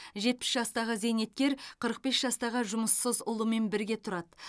жетпіс жастағы зейнеткер қырық бес жастағы жұмыссыз ұлымен бірге тұрады